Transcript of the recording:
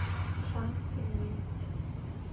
шансы есть